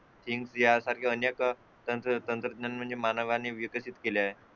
इनफिया सारखे अनेक तंत्रज्ञान मानवाने विकसित केले आहे